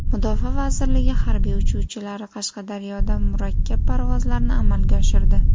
Mudofaa vazirligi harbiy uchuvchilari Qashqadaryoda murakkab parvozlarni amalga oshirdi .